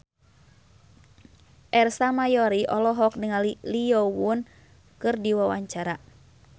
Ersa Mayori olohok ningali Lee Yo Won keur diwawancara